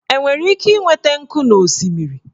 Enwere ike ịnweta nkụ n'osisi?